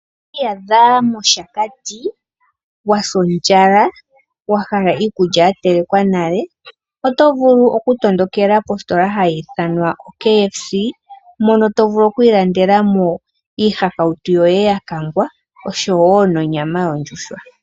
Ngele owiiyadha moshakati was ondjala, wahala iikulya ya telekwa nale, oto vulu oku tondokela positola ha yi ithanwa o KFC, mono to vulu okwiilandela mo iihakautu yoye yakangwa osho woo nonyama yondjuhwa.